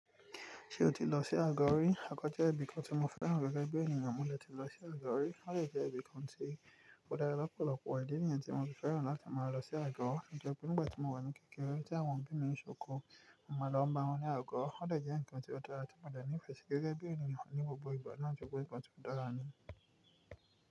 Ṣé o ti lọ sí Agọ rí? Àkọọ́jẹ̀ ẹbí kan tí mo fẹ́ràn gẹ́gẹ́ bí ènìyàn mú mi le tí lọ sí Agọ rí. Ó jẹ́ ibí kan tí ó dára lọ́pọ̀lọpọ̀ idi niyen tí mo ti fẹ́ràn láti máa lọ sí Agọ. Ǹjẹ́ nígbà tí mo wà ní kékeré tí àwọn òbí mi ń ṣòkò, màá lọ bá wọn ní Agọ. Ó jẹ́ ǹkan tí ó dára tí mo dá ní ìfẹ́ gẹ́gẹ́ bí ènìyàn ní gbogbo ìgbà láti gbọ́ ǹkan tí ó dára ni.